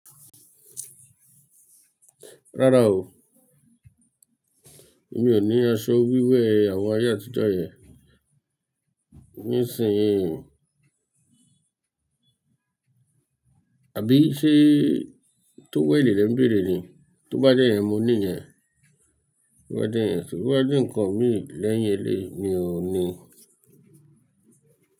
Rárá o, emí ò ní aṣọ wíwo àwọn ayé àtijọ́ yẹn. Ní ìsìn yìí ò. Àbí ṣé tówẹ̀lé lẹ̀ ń bèrè ni? Tó bá jẹ́ yẹn mo ní yẹn. Tó bá jẹ́ ǹkan mì lẹ́yìn playing, mi ò níi.